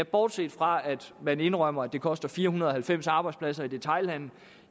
bortset fra at man indrømmer at det koster fire hundrede og halvfems arbejdspladser i detailhandelen